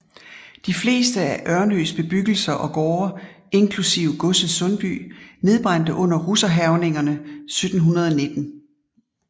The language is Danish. De fleste af Ornös bebyggelser og gårde inklusive godset Sundby nedbrændte under russerhærgningerne 1719